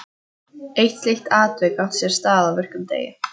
Eitt slíkt atvik átti sér stað á virkum degi.